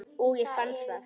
Og ég fann það.